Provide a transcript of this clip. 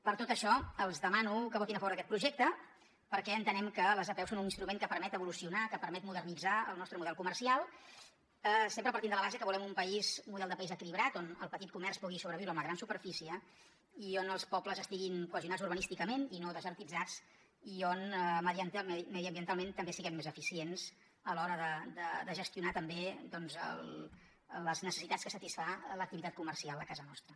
per tot això els demano que votin a favor d’aquest projecte perquè entenem que les apeu són un instrument que permet evolucionar que permet modernitzar el nostre model comercial sempre partint de la base que volem un model de país equilibrat on el petit comerç pugui sobreviure amb la gran superfície i on els pobles estiguin cohesionats urbanísticament i no desertitzats i on mediambientalment també siguem més eficients a l’hora de gestionar també les necessitats que satisfà l’activitat comercial a casa nostra